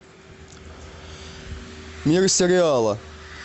мир сериала